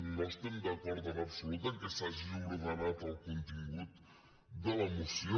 no estem d’acord en absolut que s’hagi ordenat el contingut de la moció